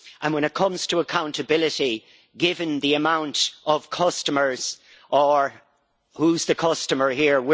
When it comes to accountability, given the amount of customers and who is the customer here?